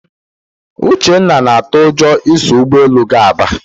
Uvhenna na-atụ ụjọ iso ụgbọelu gaa Aba